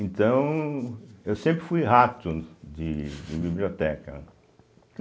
Então, eu sempre fui rato de de biblioteca.